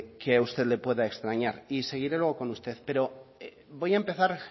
que que a usted le pueda extrañar y seguiré luego con usted pero voy a empezar